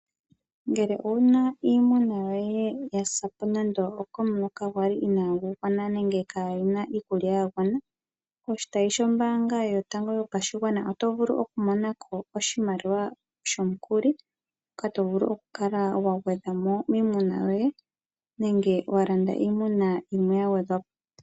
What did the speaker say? Ngele owuna iimuna yoye ya sapo nando komuloka gwali inagu gwana nenge kaguna iikulya ya gwana, poshitayi kehe shombanga yotango yopashigwana, oto vulu oku monako oshimaliwa shomukuli, shoka to vulu oku kala wa gwedhamo miimuna yoye nenge wa landa iimuna yimwe ya gwedhwapo.